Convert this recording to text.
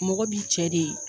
Mɔgɔ b'i cɛ de